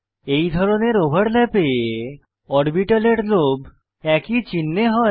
এই ধরনের ওভারল্যাপে অরবিটালের লোব একই চিনহে হয়